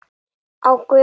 Ég ætla að skreppa heim.